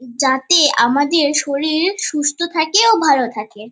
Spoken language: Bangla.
যাতে আমাদের শরীর সুস্থ থাকে ও ভালো থাকে।